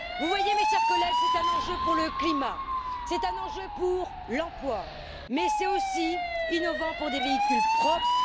Vous voyez, mes chers collègues, c'est un enjeu pour le climat, c'est un enjeu pour l'emploi, mais c'est aussi innovant pour des véhicules propres.